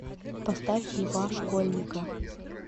поставь льва школьника